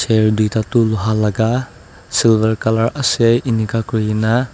a duita tool hall laga silver colour ase enika kurina.